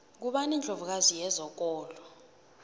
ngubani indlovu kazi yezokolo